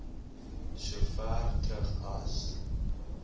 sover terug as